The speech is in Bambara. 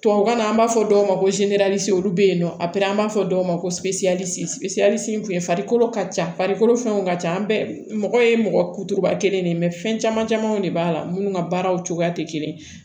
Tubabukan na an b'a fɔ dɔw ma ko olu bɛ yen nɔ a pere an b'a fɔ dɔw ma ko ka ca an bɛɛ mɔgɔ ye mɔgɔ kuturuba kelen de ye fɛn caman camanw de b'a la minnu ka baaraw cogoya tɛ kelen ye